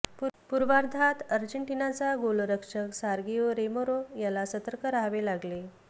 पूर्वार्धात अर्जेटिनाचा गोलरक्षक सर्गिओ रामेरो याला सतर्क राहावे लागले